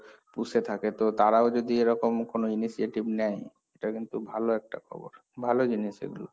পুষে থাকে, তো তাঁরাও যদি এরকম কোন initiative নেয়, এটা কিন্তু ভালো একটা খবর, ভালো জিনিস এগুলো।